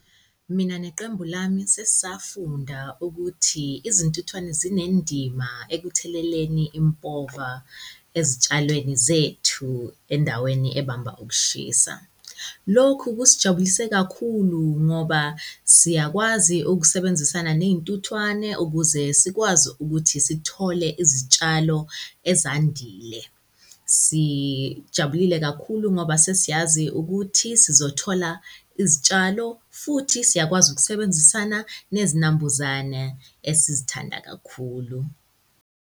Mina neqembu lami sesafunda ukuthi izintuthwane zinendima ekutheleleni impova ezitshalweni zethu endaweni ebamba ukushisa. Lokhu kusijabulise kakhulu ngoba siyakwazi ukusebenzisana ney'ntuthwane ukuze sikwazi ukuthi sithole izitshalo ezandile. Sijabulile kakhulu ngoba sesiyazi ukuthi sizothola izitshalo futhi siyakwazi ukusebenzisana nezinambuzana esizithanda kakhulu.